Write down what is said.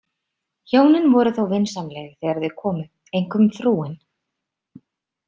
Hjónin voru þó vinsamleg þegar þau komu, einkum frúin.